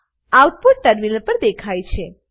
output terminal પર દેખાય છે